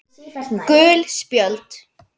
Gul spjöld